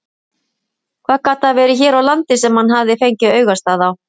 Hvað gat það verið hér á landi sem hann hafði fengið augastað á?